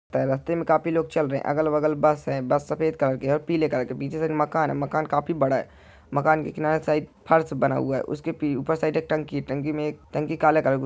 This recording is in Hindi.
रास्ते में काफी लोग चल रहे है अलग बगल बस है बस सफेद कलर और पीले कलर की है पीछे से एक मकान है मकान काफी बड़ा है मकान के किनारे साइड फर्श बना हुआ है ऊपर साइड एक टंकी है टंकी काले कलर --